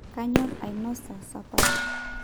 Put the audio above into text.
kanyorr ainosa sapash